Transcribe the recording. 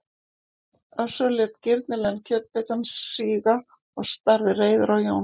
Össur lét girnilegan kjötbitann síga og starði reiður á Jón